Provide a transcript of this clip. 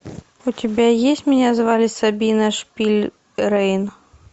у тебя есть меня звали сабина шпильрейн